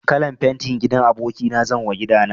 Kalan fenti gidan aboki na zanwa gida na.